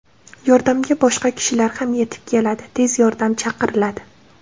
Yordamga boshqa kishilar ham yetib keladi, tez yordam chaqiriladi.